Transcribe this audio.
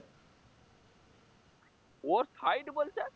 ওর side বলছে